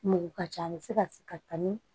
Mugu ka ca a bi se ka se ka ni